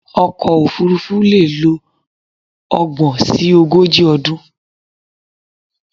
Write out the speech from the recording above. Ọkọ̀ òfurufú leè lo ogbòn si ogójì ọdún